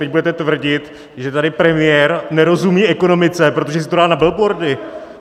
Teď budete tvrdit, že tady premiér nerozumí ekonomice, protože si to dá na billboardy?